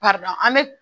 an bɛ